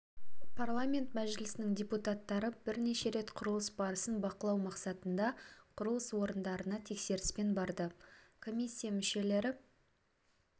парламент мәжілісінің депутаттары бірнеше рет құрылыс барысын бақылау мақсатында құрылыс орындарына тексеріспен барды комиссия мүшелері